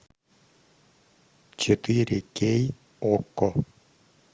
четыре кей окко